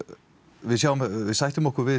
við sættum okkur við